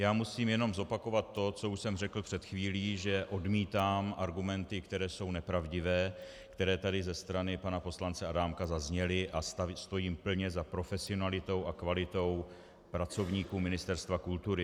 Já musím jenom zopakovat to, co už jsem řekl před chvílí, že odmítám argumenty, které jsou nepravdivé, které tady ze strany pana poslance Adámka zazněly, a stojím plně za profesionalitou a kvalitou pracovníků Ministerstva kultury.